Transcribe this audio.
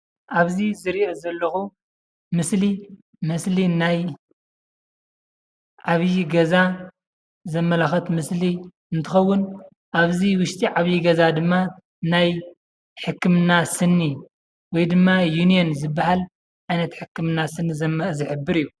ኣብዚ ዝሪኦ ዘለኹ ምስሊ ምስሊ ናይ ዓብዩ ገዛ ዘመላኽት ምስሊ እንትኸውን ኣብዚ ውሽጢ ዓብይ ገዛ ድማ ሕክምና ስኒ ውይ ድማ ዩኒየን ዝብሃል ዓይነት ሕክምና ስኒ ዝሕብር እዩ።